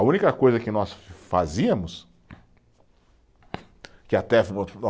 A única coisa que nós fazíamos, que até